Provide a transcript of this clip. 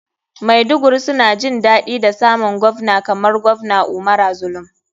Maiduguri suna jin daɗi da samun govna kamar govna umara zulum.